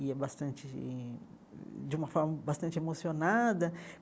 e é bastante de de uma forma bastante emocionada.